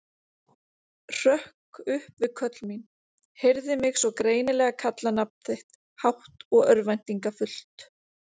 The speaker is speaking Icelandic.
Hrökk upp við köll mín, heyrði mig svo greinilega kalla nafn þitt, hátt og örvæntingarfullt.